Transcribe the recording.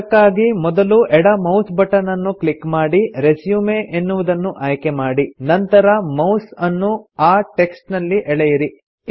ಅದಕ್ಕಾಗಿ ಮೊದಲು ಎಡ ಮೌಸ್ ಬಟನ್ ಅನ್ನು ಕ್ಲಿಕ್ ಮಾಡಿ ರೆಸ್ಯೂಮ್ ಎನ್ನುವುದನ್ನು ಆಯ್ಕೆ ಮಾಡಿ ನಂತರ ಮೌಸ್ ಅನ್ನು ಆ ಟೆಕ್ಸ್ಟ್ ನಲ್ಲಿ ಎಳೆಯಿರಿ